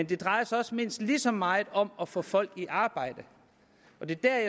det drejer sig mindst lige så meget om at få folk i arbejde der